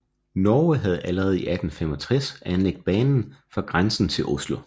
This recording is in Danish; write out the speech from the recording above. Norge havde allerede i 1865 anlagt banen fra grænsen til Oslo